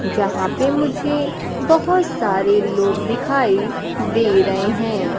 जहां पे मुझे बहोत सारे लोग दिखाई दे रहे हैं।